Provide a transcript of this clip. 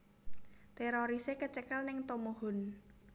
Terorise kecekel ning Tomohon